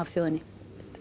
þjóðinni